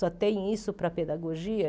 Só tem isso para pedagogia?